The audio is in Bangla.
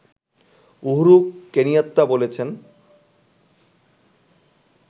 উহুরু কেনিয়াত্তা বলেছেন